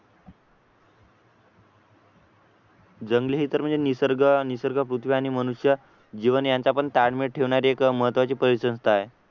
जंगले तर म्हणजे निसर्ग मनुष्य आणि पृथ्वी आणि मनुष्य जीवन यांचा पण ताळमेळ ठेवणारी एक महत्त्वाची परिसंस्था आहे